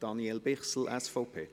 Das Wort hat Daniel Bichsel, SVP.